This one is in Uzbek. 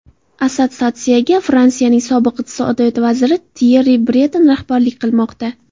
Assotsiatsiyaga Fransiyaning sobiq iqtisodiyot vaziri Tyerri Breton rahbarlik qilmoqda.